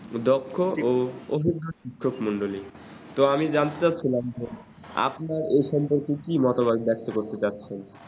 দক্ষ ও অভিজ্ঞ শিক্ষক মন্ডলী তো আমি জানতে ছিলাম যে আপনার এ সম্পর্কে কি মতামত ব্যক্ত করতে চাচ্ছেন